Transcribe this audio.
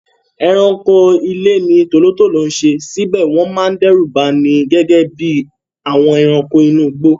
Ẹranko ilé ni tòlótòtó ń ṣe síbẹ̀ wọ́n máa ń dẹ́rù bani gẹ́gẹ́ bí àwọn ẹranko inú igbó.